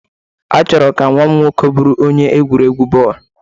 Achọrọ m ka nwa m nwoke bụrụ onye egwuregwu bọọlụ.